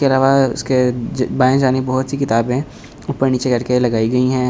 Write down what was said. के अलावा उसके बाएं जानी बहुत सी किताबें ऊपर नीचे करके लगाई गई हैं।